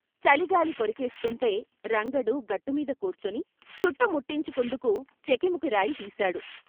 చలి గాలి కొరికేస్తుంటే రంగడు గట్టుమీద కూర్చుని చుట్ట ముట్టించు కుందుకు చెకుముకిరాయి తీశాడు.